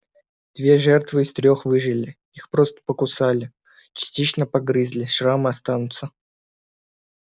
две жертвы из трёх выжили их просто покусали частично погрызли шрамы останутся